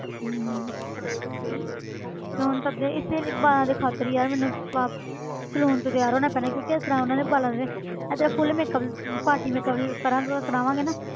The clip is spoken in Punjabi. ਹਮ ਇਸੇ ਲਈ ਵਾਲਾਂ ਦੇ ਖ਼ਾਤਿਰ ਹੀ ਯਾਰ ਮੈਨੂੰ ਸੈਲੋ~ saloon ਤੋਂ ਤਿਆਰ ਹੋਣਾ ਪੈਣਾ ਹੈ ਕਿਉਂਕਿ ਇਸ ਤਰ੍ਹਾਂ ਉਹਨਾਂ ਨੇ ਵਾਲਾਂ ਦੇ ਇਸ ਤਰ੍ਹਾਂ full makeup ਅਮ party makeup ਕਰਾਂਗੇ ਕਰਾਵਾਂਗੇ ਨਾ,